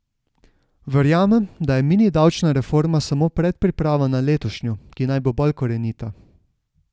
Verjamem, da je mini davčna reforma samo predpriprava na letošnjo, ki naj bo bolj korenita.